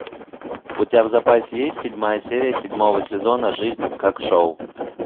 у тебя в запасе есть седьмая серия седьмого сезона жизнь как шоу